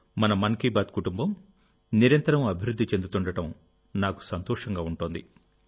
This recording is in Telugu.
మనమన్ కీ బాత్ కుటుంబం నిరంతరం అభివృద్ధి చెందుతుండడం నాకు సంతోషంగా ఉంటోంది